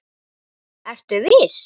Ertu viss?